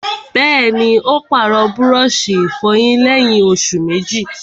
Bẹ́ẹ̀ni, ó pàrọ̀ búrọ̀sì ìfọyín lẹ́yìn òsù méjì